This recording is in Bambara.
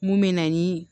Mun bɛ na ni